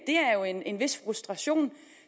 er jo en vis frustration